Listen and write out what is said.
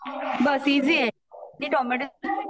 बस easy आहे ते मी टोमॅटो